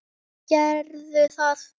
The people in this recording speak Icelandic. Gerðu það.